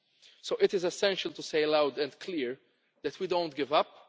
ground. So it is essential to say loud and clear that we do not